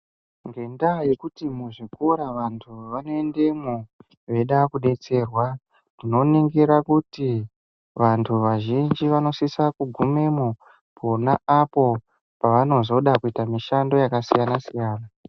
Ngenda yekuti muzvikoro vantu vanoendemwo veida kudetserwa tinoningira kuti vantu vazhinji vanosisa kugumemwo pona apo pavanozoda kuita mishando yakasiyana siyana.